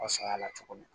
Saɲa la cogo min